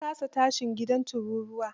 Ya kasa tashin gidan turuwar.